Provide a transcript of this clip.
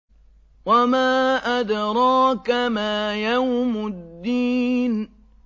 وَمَا أَدْرَاكَ مَا يَوْمُ الدِّينِ